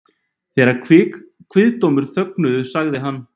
Þegar kviðdómendur þögnuðu sagði hann